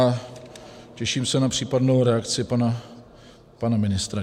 A těším se na případnou reakci pana ministra.